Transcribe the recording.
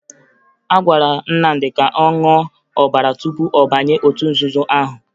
A gwara Nnamdị ka ọ ṅụọ ọbara tupu ọ banye otu nzuzo ahụ